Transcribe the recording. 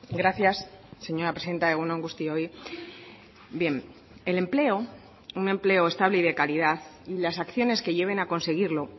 gracias señora presidenta egun on guztioi bien el empleo un empleo estable y de calidad y las acciones que lleven a conseguirlo